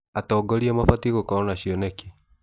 Atongoria mabatiĩ gũkorwo na cioneki.